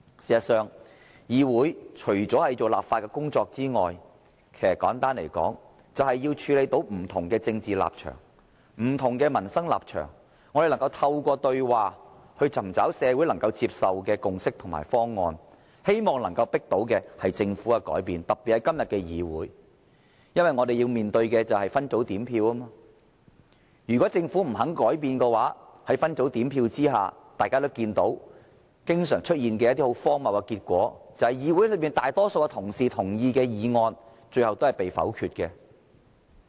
事實上，議會除了負責立法的工作外，其實簡單來說，便是要處理不同的政治立場和不同的民生立場，透過對話尋找社會能夠接受的共識和方案，希望能夠迫使政府改變，特別是今天的議會，因為我們要面對的是分組點票。如果政府不肯改變，在分組點票下，大家也看到一些經常出現的荒謬結果，便是議會內大多數同事贊同的議案最終也被否決。